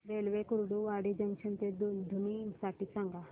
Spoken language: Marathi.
रेल्वे कुर्डुवाडी जंक्शन ते दुधनी साठी सांगा